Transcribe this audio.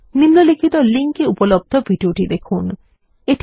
নিম্নলিখিত লিঙ্ক এ উপলব্ধ ভিডিওটি দেখুন